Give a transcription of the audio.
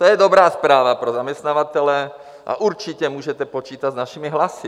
To je dobrá zpráva pro zaměstnavatele a určitě můžete počítat s našimi hlasy.